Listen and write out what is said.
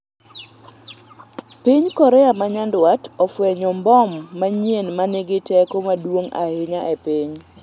piny Korea ma nyandwat ofwenyo mbom manyien manigi teko maduong' ahinya e piny